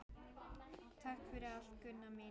Takk fyrir allt, Gunna mín.